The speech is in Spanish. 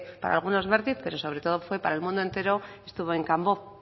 para algunos bertiz pero sobre todo para el mundo entero estuvo en kanbo